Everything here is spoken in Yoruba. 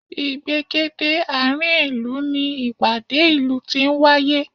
Ìgbègéde àárín ìlú ni ìpàdé ìlú ti ń wáyé